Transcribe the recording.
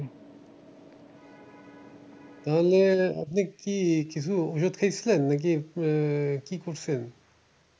তাহলে আপনি কি কিছু ওষুধ খেয়েছিলেন? নাকি আহ কি করছেন?